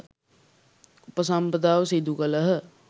උපසම්පදාව සිදු කළහ.